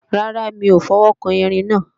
Rárá, mi ò fọwọ́kan Erin náà